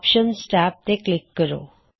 options tab ਤੇ click ਕਰੋ